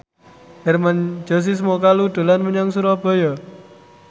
Hermann Josis Mokalu dolan menyang Surabaya